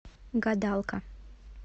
гадалка